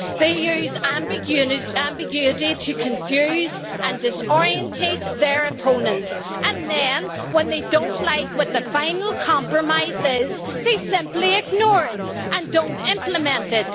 They use ambiguity to confuse and disorientate their opponents, and then, when they don't like what the final compromise is, they simply ignore it and don't implement it.